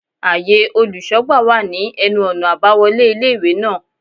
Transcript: Áye olùsógbà wà ní enu ònà àbáwolé ilé ìwé náà